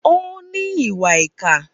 Ó ní ìwà ìkà.